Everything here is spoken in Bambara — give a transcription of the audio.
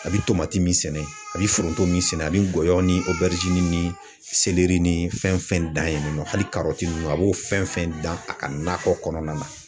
A bɛ tomati min sɛnɛ a bɛ foronto min sɛnɛ ani gɔyɔ ni o bɛrɛti ni ni fɛn fɛn dan ye nɔ hali ninnu a b'o fɛn fɛn dan a ka nakɔ kɔnɔna na.